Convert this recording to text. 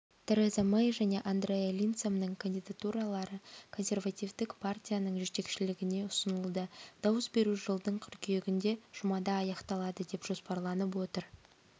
тереза мэй және андреа линдсомның кандидатуралары консервативтік партияның жетекшілігіне ұсынылды дауыс беру жылдың қыркүйегінде жұмада аяқталады деп жоспарланып отыр